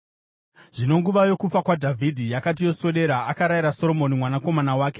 Zvino nguva yokufa kwaDhavhidhi yakati yoswedera, akarayira Soromoni mwanakomana wake,